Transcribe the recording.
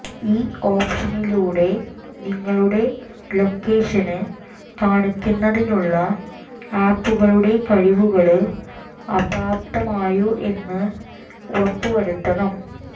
ഈ ഓപ്ഷനിലൂടെ നിങ്ങളുടെ ലൊക്കേഷന് കാണുന്നതിനുളള ആപ്ലുകളുടെ കഴിവുകള് അപ്രാപ്തമായോ എന്ന് ഉറപ്പു വരുത്തണം